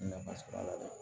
Nafa sɔrɔ a la